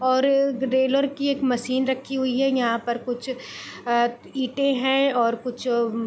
और ग्रेलर की एक मशीन रखी हुई है यहाँ पर कुछ अं ईटें हैं और कुछ म्म --